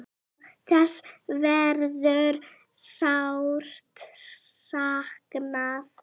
Þess verður sárt saknað.